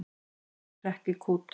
Ég hrekk í kút.